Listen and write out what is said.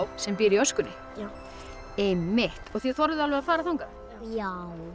sem býr í öskunni já einmitt og þið þorðuð alveg að fara þangað já